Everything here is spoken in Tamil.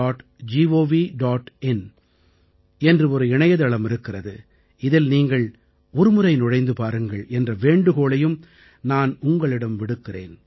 in என்று ஒரு இணையதளம் இருக்கிறது இதில் நீங்கள் ஒருமுறை நுழைந்து பாருங்கள் என்ற வேண்டுகோளையும் நான் உங்களிடம் விடுக்கிறேன்